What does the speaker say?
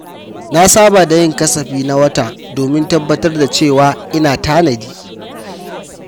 Na saba da yin kasafi na wata domin tabbatar da cewa ina tanadi.